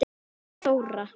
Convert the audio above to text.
Vala og Þóra.